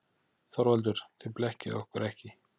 ÞORVALDUR: Þið blekkið okkur ekki.